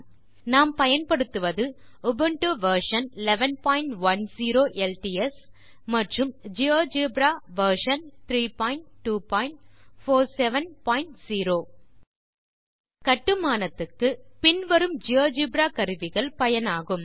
இந்த பாடத்தை பதிவு செய்ய பயன்படுத்துவது லினக்ஸ் ஆப்பரேட்டிங் சிஸ்டம் உபுண்டு பதிப்பு 1110 ஜியோஜெப்ரா பதிப்பு 3247 கட்டுமானத்துக்கு பின் வரும் ஜியோஜெப்ரா கருவிகள் பயனாகும்